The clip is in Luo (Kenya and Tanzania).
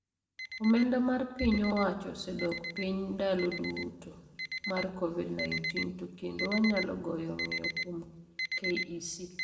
Omenda mar piny owacho osedok piny ndalo tulo mar Covid-19 to kendo wanyalo golo ng'yo kuom KEC.